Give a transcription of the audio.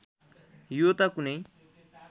यो त कुनै